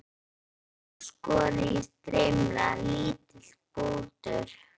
Ferskt engifer, skorið í strimla, lítill bútur